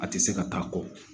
A tɛ se ka taa kɔ